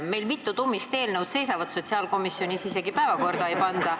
Meil mitu tummist eelnõu seisab sotsiaalkomisjonis, isegi päevakorda ei panda.